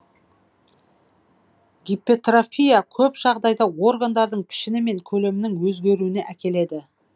гипертрофия көп жағдайда органдардың пішіні мен көлемінің өзгеруіне әкеледі